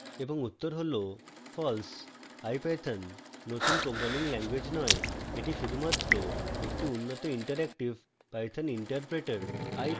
এবং উত্তর হলfalse ipython নতুন programming ল্যাঙ্গুয়েজ নয় এটি শুধুমাত্র একটি উন্নত interactive python interpreter